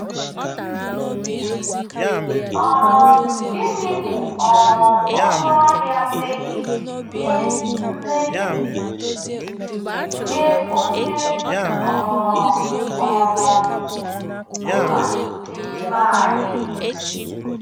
um Gịnị bụ um ọnụ ahịa mmehie nye mmehie nye onye ọ um bụla n'ime anyị?